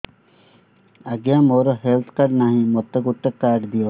ଆଜ୍ଞା ମୋର health card ନାହିଁ ମୋତେ ଗୋଟେ କାର୍ଡ ଦିଅ